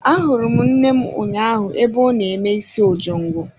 Ahụrụ m nne m ụnyaahụ ebe ọ na-eme isi ojongo.